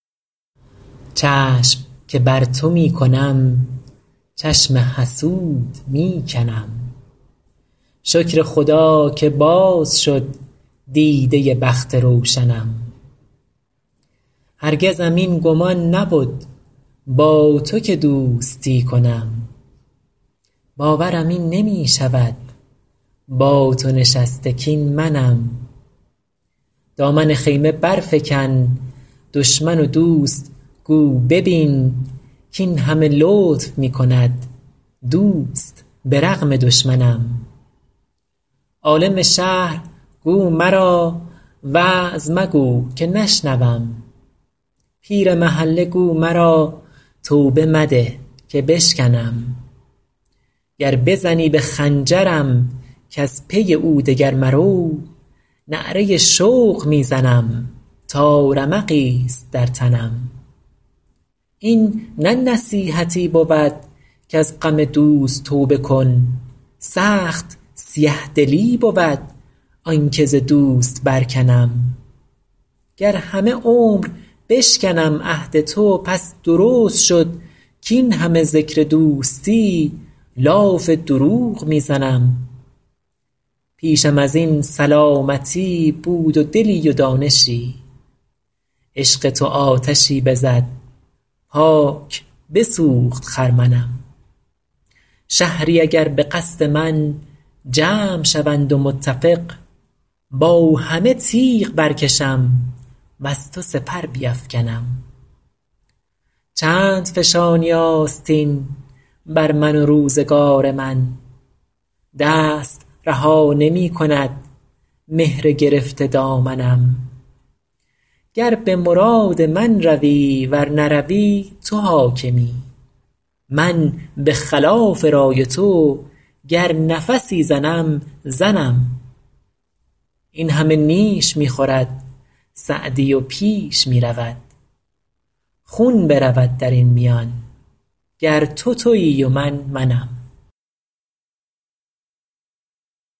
چشم که بر تو می کنم چشم حسود می کنم شکر خدا که باز شد دیده بخت روشنم هرگزم این گمان نبد با تو که دوستی کنم باورم این نمی شود با تو نشسته کاین منم دامن خیمه برفکن دشمن و دوست گو ببین کاین همه لطف می کند دوست به رغم دشمنم عالم شهر گو مرا وعظ مگو که نشنوم پیر محله گو مرا توبه مده که بشکنم گر بزنی به خنجرم کز پی او دگر مرو نعره شوق می زنم تا رمقی ست در تنم این نه نصیحتی بود کز غم دوست توبه کن سخت سیه دلی بود آن که ز دوست برکنم گر همه عمر بشکنم عهد تو پس درست شد کاین همه ذکر دوستی لاف دروغ می زنم پیشم از این سلامتی بود و دلی و دانشی عشق تو آتشی بزد پاک بسوخت خرمنم شهری اگر به قصد من جمع شوند و متفق با همه تیغ برکشم وز تو سپر بیفکنم چند فشانی آستین بر من و روزگار من دست رها نمی کند مهر گرفته دامنم گر به مراد من روی ور نروی تو حاکمی من به خلاف رای تو گر نفسی زنم زنم این همه نیش می خورد سعدی و پیش می رود خون برود در این میان گر تو تویی و من منم